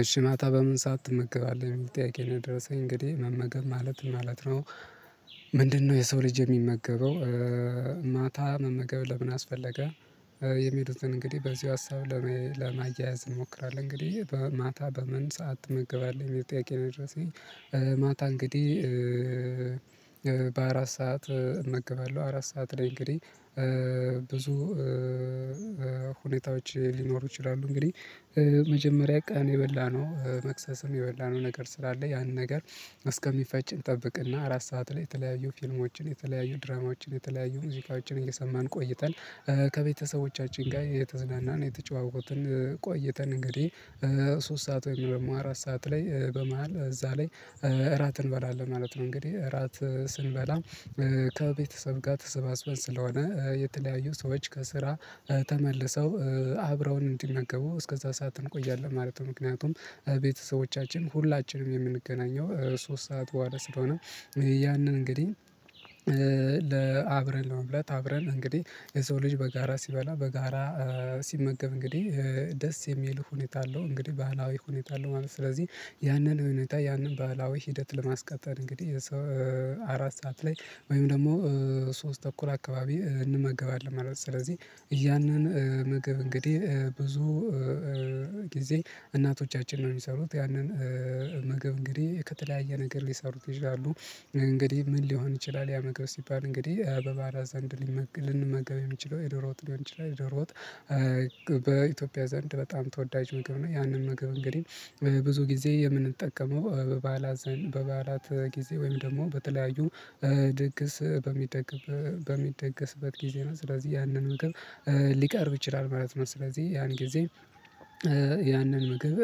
እሺ ማታ በምን ሰዓት ትመገባለህ የሚል ጥያቄ ነው የደረሰኝ እንግዲህ መመገብ ማለት ምን ማለት ነው? ምንድነው የሰው ልጅ የሚመገበው? ማታ መመገብ ለምን አስፈለገ። የሚሄዱትን እንግዲህ በዚሁ ሀሳብ ለማያያዝ እንሞክራለን እንግዲህ በማታ በምን ሰዓት ትመገባለህ የሚል ጥያቄ ነው የደረሰኝ? ማታ እንግዲህ በአራት ሰዓት እመግባለሁ አራት ሰዓት ላይ እንግዲህ ብዙ ሁኔታዎች ሊኖሩ ይችላሉ። እንግዲህ መጀመሪያ ቀን የበላነው መክሰስም የበላነው ነገር ስላለ ያንን ነገር እስከሚፈጭ እንጠብቅ። እና አራት ሰዓት ላይ የተለያዩ ፊልሞችን የተለያዩ ድራማዎችን የተለያዩ ሙዚቃዎችን እየሰማን ቆይተን ከቤተሰቦቻችን ጋር እየተዝናን እየተጨዋወትን ቆይተን እንግዲህ ሶስት ሰዓት ወይም ደግሞ አራት ሰዓት ላይ በመሃል እዛ ላይ እራት እንበላለን ማለት ነው። እንግዲህ እራት ስንበላ ከቤተሰብ ጋር ተሰባስበን ስለሆነ የተለያዩ ሰዎች ከስራ ተመልሰው አብረውን እንዲመገቡ እስከዛ ሰዓት እንቆያለን ማለት ነው። ምክንያቱም ቤተሰቦቻችን ሁላችንም የምንገናኘው ሶስት ሰዓት በኋላ ስለሆነ። ያንን እንግዲህ ለ አብረን ለመብላት እብረን እንግዲህ የሰው ልጅ በጋራ ሲበላ በጋራ ሲመገብ እንግዲህ ደስ የሚል ሁኔታ አለው። እንግዲህ ባህላዊ ሁኔታ አለው። ማለት ስለዚህ ያንን ሁኔታ ያንን ባህላዊ ሂደት ለማስቀጠል እንግዲህ አራት ሰዓት ላይ ወይም ደግሞ ሶስት ተኩል አካባቢ እንመገባለን ማለት ነው። ስለዚህ ያንን ምግብ እንግዲህ ብዙ ጊዜ እናቶቻችን ነው የሚሰሩት ያንን ምግብ እንግዲህ ከተለያየ ነገር ሊሰሩት ይችላሉ። እንግዲህ ምን ሊሆን ይችላል ያ ምግብ ሲባል እንግዲህ በባዕላት ዘንድ ሊመግብ ልንመገብ የምንችለው የዶሮ ወጥ ሊሆን ይችላል የዶሮ ወጥ። በኢትዮጵያ ዘንድ በጣም ተወዳጅ ምግብ ነው። ያንን ምግብ እንግዲህ ብዙ ጊዜ የምንጠቀመው በበዓላት ዘንድ በበዓላት ጊዜ ወይም ደግሞ በተለያዩ ድግስ በሚደገ በሚደገስበት ጊዜ ነው። ስለዚህ ያንን ምግብ ሊቀርብ ይችላል ማለት ነው። ስለዚህ ያን ጊዜ ያንን ምግብ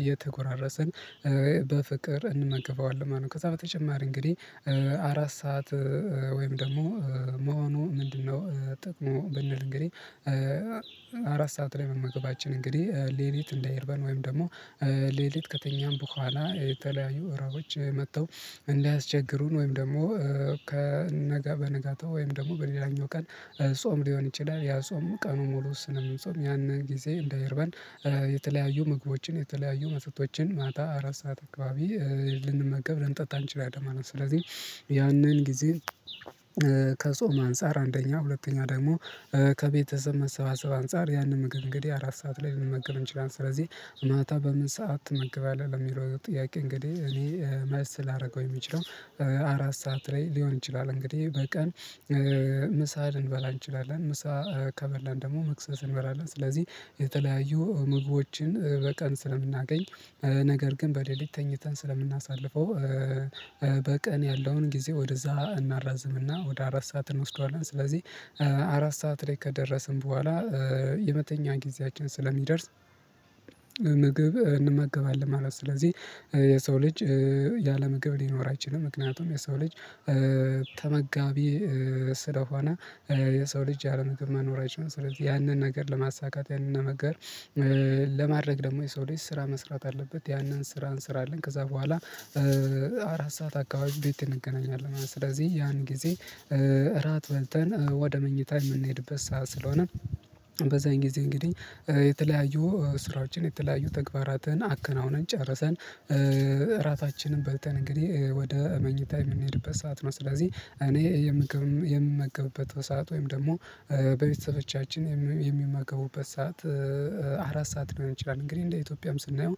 እየተጎራረስን በፍቅር እንመገበዋለን ማለት ነው። ከዛ በተጨማሪ እንግዲህ አራት ሰዓት ወይም ደግሞ መሆኑ ምንድነው? ጥቅሙ ብንል እንግዲህ አራት ሰዓት ላይ መመገባችን እንግዲህ ሌሊት እንዳይርበን ወይም ደግሞ ሌሊት ከተኛን በኋላ የተለያዩ እርሃቦች መጥተው እንዳያቸግሩን ወይም ደግሞ ከነጋ በነጋታው ወይም ደግሞ በሌላኛው ቀን ጾም ሊሆን ይችላል። ያ ጾም ቀኑ ሙሉ ስለምንጾም ያንን ጊዜ እንዳይርበን የተለያዩ ምግቦችን የተለያዩ መጠጦችን ማታ አራት ሰዓት አካባቢ ልንመገብ ልንጠጣ አንችላለን ማለት ነው። ስለዚህ ያንን ጊዜ ከጾም አንፃር አንደኛ ሁለተኛ ደግሞ ከቤተሰብ መሰባሰብ አንፃር ያንን ምግብ እንግዲህ አራት ሰዓት ላይ ልንመገብ እንችላለን። ስለዚህ ማታ በምን ሰዓት ትመገባለህ ለሚለው ጥያቄ እንግዲህ እኔ መልስ ላደረገው የምችለው አራት ሰዓት ላይ ሊሆን ይችላል። እንግዲህ በቀን ምሳ ልንበላ እንችላለን። ምሳ ከበላን ደግሞ መክሰስ እንበላለን ስለዚህ የተለያዩ ምግቦችን በቀን ስለምናገኝ ነገር ግን በሌሊት ተኝተን ስለምናሳልፈው በቀን ያለውን ጊዜ ወደ እዛ እናራዝም እና ወደ አራት ሰዓት እንወስደዋለን። ስለዚህ አራት ሰዓት ላይ ከደረስን በኋላ የመተኛ ጊዜያችን ስለሚደርስ ምግብ እንመገባለን ማለት ነው። ስለዚህ የሰው ልጅ ያለ ምግብ ሊኖር አይችልም። ምክንያቱም የሰው ልጅ ተመጋቢ ስለሆነ የሰው ልጅ ያለ ምግብ መኖር አይችልም። ስለዚህ ያንን ነገር ለማሳካት ያንን ነገር ለማድረግ ደግሞ የሰው ልጅ ስራ መስራት አለበት። ያንን ስራ እንስራለን ከዛ በኋላ አራት ሰዓት አካባቢ ቤት እንገናኛለን ማለት ነው። ስለዚህ ያን ጊዜ እራት በልተን ወደ መኝታ የምንሄድበት ሰዓት ስለሆነ በዛን ጊዜ እንግዲህ የተለያዩ ስራዎችን የተለያዩ ተግባራትን አከናውነን ጨርሰን እራታችንን በልተን እንግዲህ ወደ መኝታ የምንሄድበት ሰዓት ነው። ስለዚህ እኔ የምግብም የምመገብበት ሰዓት ወይም ደግሞ በቤተሰቦቻችን የሚመገቡበት ሰዓት አራት ሰዓት ሊሆን ይችላል። እንግዲህ እንደ ኢትዮጵያም ስናየው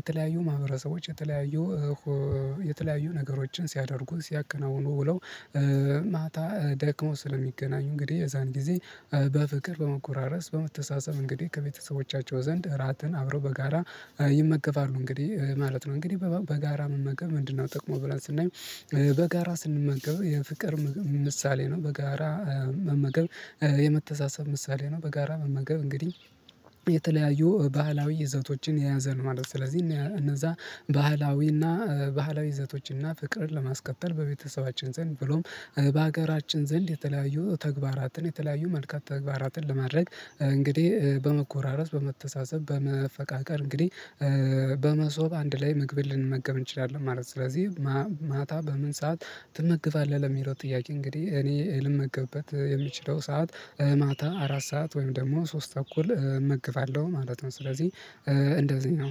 የተለያዩ ማህበረሰቦች የተለያዩ የተለያዩ ነገሮችን ሲያደርጉ ሲያከናውኑ ውለው ማታ ደክሞ ስለሚገናኙ እንግዲህ የዛን ጊዜ በፍቅር በመጎራረስ በመተሳሰብ እንግዲህ ከቤተሰቦቻቸው ዘንድ እራትን አብረው በጋራ ይመገባሉ እንግዲህ ማለት ነው። እንግዲህ በጋራ መመገብ ምንድነው? ጥቅሙ ብለን ስናይ በጋራ ስንመገብ የፍቅር ምሳሌ ነው። በጋራ መመገብ የመተሳሰብ ምሳሌ ነው። በጋራ መመገብ እንግዲህ የተለያዩ ባህላዊ ይዘቶችን የያዘ ነው ማለት ነው። ስለዚህ እነዛ ባህላዊ እና ባህላዊ ይዘቶች እና ፍቅርን ለማስቀጠል በቤተሰባችን ዘንድ ብሎም በሀገራችን ዘንድ የተለያዩ ተግባራትን የተለያዩ መልካም ተግባራትን ለማድረግ እንግዲህ በመጎራረስ በመተሳሰብ በመፈቃቀር እንግዲህ በመሶብ አንድ ላይ ምግብን ልንመገብ እንችላለን ማለት ነው። ስለዚህ ማታ በምን ሰዓት ትመገባለህ? ለሚለው ጥያቄ እንግዲህ እኔ ልመገብበት የምችለው ሰዓት ማታ አራት ሰዓት ወይም ደግሞ ሶስት ተኩል እመገባለሁ ማለት ነው። ስለዚህ እንደዚህ ነው